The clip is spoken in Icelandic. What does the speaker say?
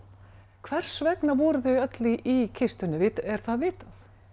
hvers vegna voru þau öll í kistunni er það vitað